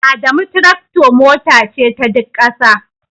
Adamu tractor Mota ce ta Duk ƙasa